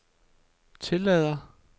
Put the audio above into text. tillader